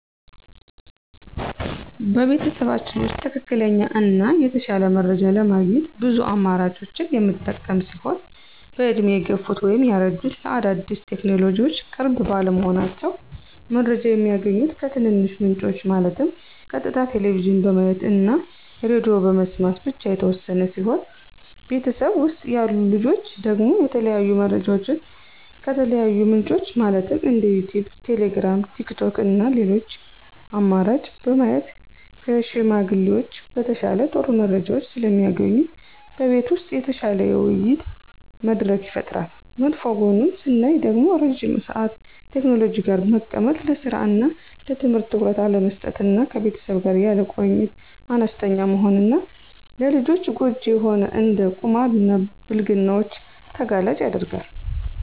በቤተሰባችን ውስጥ ትክክለኛ እና የተሻለ መረጃ ለማግኘት ብዙ አማራጮችን የምንጠቀም ሲሆን በእድሜ የገፉት (ያረጁት) ለአዳዲስ ቴክኖሎጅዎች ቅርብ ባለመሆናቸው። መረጃ የሚያገኙት ከትንንሽ ምንጮች ማለትም ቀጥታ ቴሌቭዥን በማየት እና ሬድዬ በመስማት ብቻ የተወሰነ ሲሆን በቤተሰብ ውስጥ ያሉ ልጆች ደግሞ የተለያዩ መረጃዎችን ከተለያዩ ምንጮች ማለትም እንደ ዩቲዩብ: ቴሌግራም: ቲክቶክ እና ሌሎች አማራጭ በማየት ከሽማግሌዎች በተሻለ ጥሩ መረጃዎች ስለሚያገኙ በቤት ውስጥ የተሻለ የውይይት መድረክ ይፈጠራል። መጥፎ ጎኑን ስናይ ደግሞ ረዥም ሰአት ቴክኖሎጂ ጋር በመቀመጥ ለስራ እና ለትምህርት ትኩረት አለመስጠት እና ከቤተሰብ ጋር ያለ ቁርኝት አነስተኛ መሆን እና ለልጆች ጎጅ የሆኑ እንደ ቁማር እና ብልግናዎችን ተጋላጭ ያደርጋል።